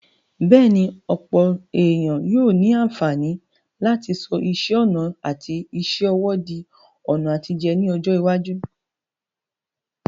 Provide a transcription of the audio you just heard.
Bẹ́ẹ̀ni, ọ̀pọ̀ ènìyàn yóò ní àǹfààní láti sọ iṣẹ́ ọnà àti iṣẹ́ ọwọ́ di ọ̀nà àtijẹ ní ọjọ́ iwájú.